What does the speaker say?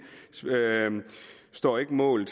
står ikke mål